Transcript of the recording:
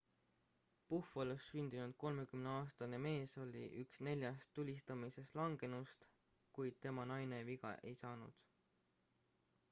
buffalos sündinud 30aastane mees oli üks neljast tulistamises langenust kuid tema naine viga ei saanud